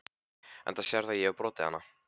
Enda sérðu að ég hefi brotið hana.